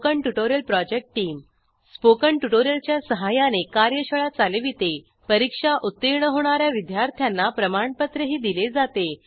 spoken tutorial project team spoken tutorial च्या सहाय्याने कार्यशाळा चालवितेपरीक्षा उत्तीर्ण होणा या विद्यार्थ्यांना प्रमाणपत्रही दिले जाते